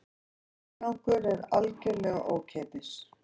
Aðgangur er algjörlega ókeypis